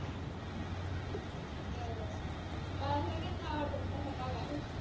मला सगळ्याच आवडतात. तस